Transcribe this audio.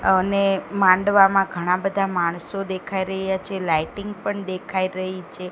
અને માંડવામાં ઘણા બધા માણસો દેખાઈ રહ્યા છે લાઈટિંગ પણ દેખાઈ રહી છે.